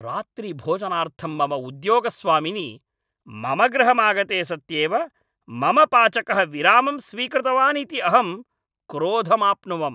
रात्रिभोजनार्थं मम उद्योगस्वामिनि मम गृहमागते सत्येव मम पाचकः विरामं स्वीकृतवानिति अहं क्रोधमाप्नुवम्।